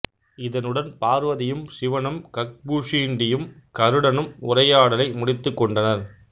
இதனுடன் பார்வதியும் சிவனும் கக்புஷுன்டியும் கருடனும் உரையாடலை முடித்துக் கொண்டனர்